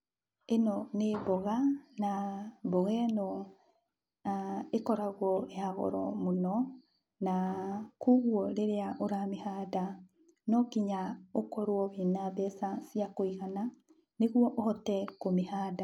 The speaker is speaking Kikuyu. Ĩno nĩ mboga, na mboga ĩno ĩkoragwo ya goro mũno, na koguo rĩrĩa ũramĩhanda, nonginya ũkorwo ũrĩ na mbeca ciakũigana nĩguo ũhote kũmĩhanda.